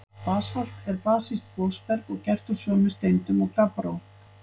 Basalt er basískt gosberg og gert úr sömu steindum og gabbró.